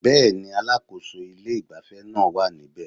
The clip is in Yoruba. Bẹ́ẹ̀ni, alákòso ilé ìgbafẹ́ naa wá níbe